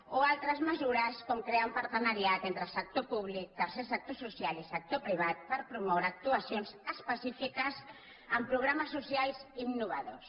o altres mesures com crear un partenariat entre sector públic tercer sector social i sector privat per promoure actuacions específiques amb programes socials innovadors